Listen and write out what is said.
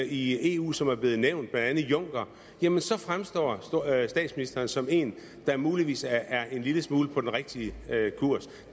i eu som er blevet nævnt blandt andet juncker så fremstår statsministeren som en der muligvis er en lille smule på den rigtige kurs